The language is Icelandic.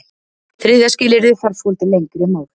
Þriðja skilyrðið þarf svolítið lengra mál.